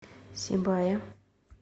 сибае